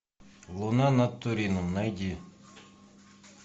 луна над турином найди